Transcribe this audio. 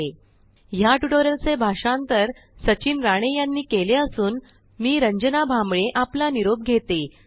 spoken tutorialorgnmeict intro या tutorial चे भाषांतर सचिन राणे यांनी केले असून मी रंजना भांबळे यांचा आहे